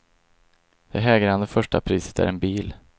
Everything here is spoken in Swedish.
Det hägrande första priset är en bil.